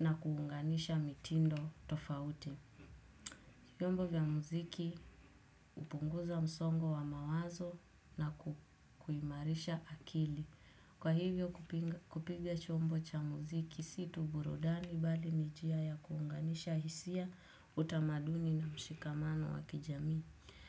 na kuunganisha mitindo tofauti. Vyombo vya muziki upunguza msongo wa mawazo na kuimarisha akili. Kwa hivyo kupiga chombo cha muziki si tu burudani bali ni jia ya kuunganisha hisia utamaduni na mshikamano wa kijamii.